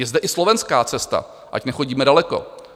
Je zde i slovenská cesta, ať nechodíme daleko.